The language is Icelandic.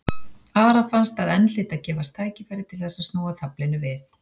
Ara fannst að enn hlyti að gefast tækifæri til þess að snúa taflinu við.